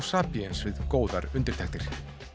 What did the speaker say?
sapiens við góðar undirtektir